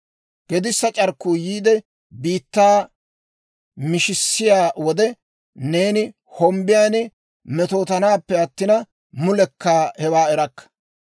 Gedissa c'arkkuu yiide, biittaa mishissiyaa wode, neeni hombbiyan metootanaappe attina, mulekka hewaa erakka.